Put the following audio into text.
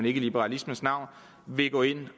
i liberalismens navn vil gå ind